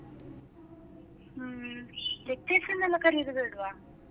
ಹ್ಮ್ lectures ನ್ನೆಲ್ಲ ಕರಿಯುದು ಬೇಡ್ವಾ?